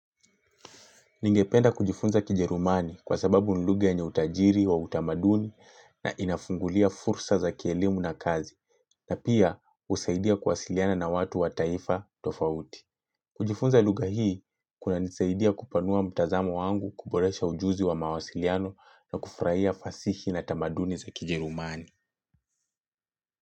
Ningependa kujifunza kijerumani kwa sababu ni lugha yenye utajiri wa utamaduni na inafungulia fursa za kielimu na kazi na pia usaidia kuwasiliana na watu wa taifa tofauti. Kujifunza lugha hii kunanisaidia kupanua mtazamo wangu, kuboresha ujuzi wa mawasiliano na kufurahia fasihi na tamaduni za kijerumani.